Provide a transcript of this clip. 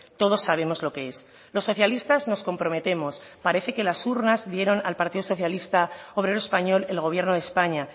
todos sabemos lo que es los socialistas nos comprometemos parece que las urnas dieron al partido socialista obrero español el gobierno de españa